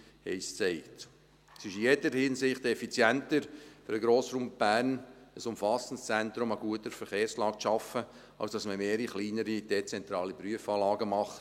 Es ist in jeder Hinsicht effizienter für den Grossraum Bern, ein umfassendes Zentrum an guter Verkehrslage zu schaffen, als mehrere kleinere, dezentrale Prüfanlagen zu machen.